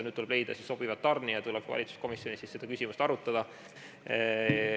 Nüüd tuleb leida sobiv tarnija, tuleb valitsuskomisjonis seda küsimust arutada.